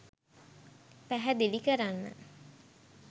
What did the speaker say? පැහැදිලි කරන්න.